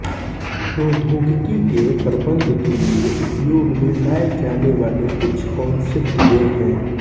प्रौद्योगिकी के प्रबन्धन के लिए उपयोग में लाए जाने वाले कुछ कॉन्सेप्ट ये हैं